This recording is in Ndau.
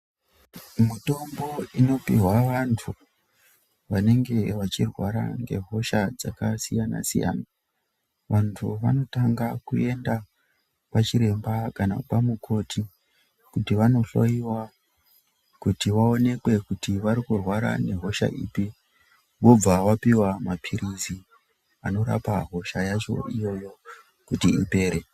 Mitombo inopihwa vantu vanenge vachirwara ngehosha dzakasiyana siyana vantu vanotanga kuenda kwachiremba kana kwamukoti kuti vanohloyiwa kuti vaonekwe kuti vanorwara nehosha ipi vobvq vapihwa mapilizi anorapa hosha yacho iyoyo kuti ipere.